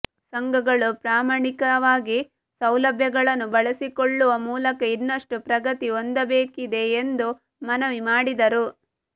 ಸಂಘಗಳು ಪ್ರಾಮಾಣಿಕವಾಗಿ ಸೌಲಭ್ಯಗಳನ್ನು ಬಳಸಿಕೊಳ್ಳುವ ಮೂಲಕ ಇನ್ನಷ್ಟು ಪ್ರಗತಿ ಹೊಂದಬೇಕಾಗಿದೆ ಎಂದು ಮನವಿ ಮಾಡಿದರು